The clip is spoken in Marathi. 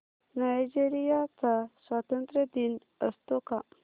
नायजेरिया चा स्वातंत्र्य दिन असतो का